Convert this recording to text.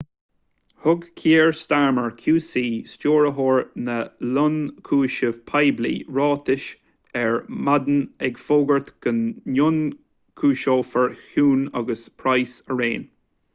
thug kier starmer qc stiúrthóir na ionchúiseamh poiblí ráiteas ar maidin ag fógairt go n-ionchúiseofar huhne agus pryce araon